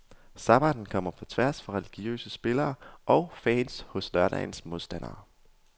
Sabbatten kommer på tværs for religiøse spillere og fans hos lørdagens modstander.